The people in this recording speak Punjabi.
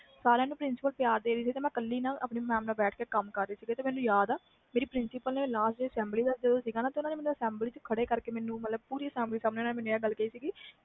ਸਾਰਿਆਂ ਨੂੰ principal mam ਪਿਆਰ ਦੇ ਰਹੀ ਮੈਂ ਆਪਣੀ ਨਾਲ ਬੈਠ ਕੇ ਕੰਮ ਕਰਾ ਰਹੀ ਸੀ ਤੇ ਮੈਨੂੰ ਯਾਦ ਆ ਮੇਰੀ principal ਨੇ assembly ਵਿਚ ਮੈਨੂੰ ਖੜ੍ਹੇ ਕਰਕੇ ਪੂਰੀ assembly ਵਿਚ ਆਹ ਗੱਲ ਕੇਹੀ ਸੀ